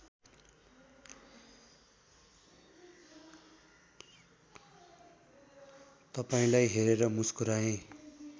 तपाईँलाई हेरेर मुस्कुराए